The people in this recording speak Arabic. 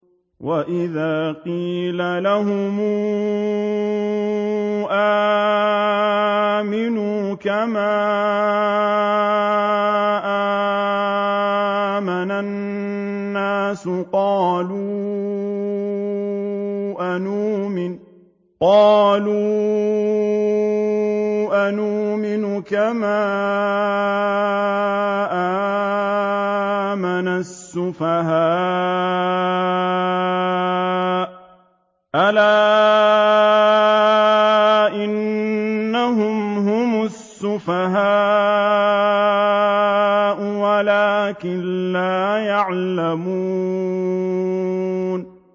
وَإِذَا قِيلَ لَهُمْ آمِنُوا كَمَا آمَنَ النَّاسُ قَالُوا أَنُؤْمِنُ كَمَا آمَنَ السُّفَهَاءُ ۗ أَلَا إِنَّهُمْ هُمُ السُّفَهَاءُ وَلَٰكِن لَّا يَعْلَمُونَ